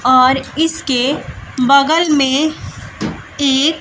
और इसके बगल में एक--